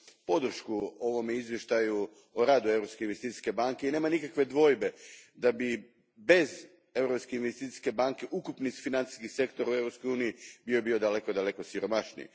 podršku ovome izvještaju o radu Europske investicijske banke i nema nikakve dvojbe da bi bez Europske investicijske banke ukupni financijski sektor u Europskoj uniji bio daleko siromašniji.